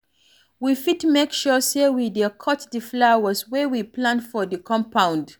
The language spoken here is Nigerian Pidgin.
We fit make sure sey we dey cut di flowers wey we plant for di compound